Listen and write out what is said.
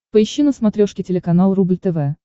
поищи на смотрешке телеканал рубль тв